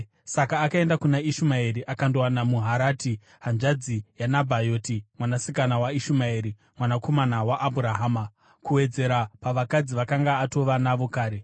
saka akaenda kuna Ishumaeri akandowana Maharati, hanzvadzi yaNebhayoti mwanasikana waIshumaeri mwanakomana waAbhurahama, kuwedzera pavakadzi vaakanga atova navo kare.